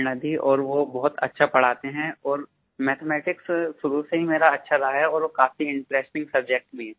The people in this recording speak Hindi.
प्रेरणा दी और वो बहुत अच्छा पढ़ाते हैं और मैथमेटिक्स शुरू से ही मेरा अच्छा रहा है और वो काफी इंटरेस्टिंग सब्जेक्ट भी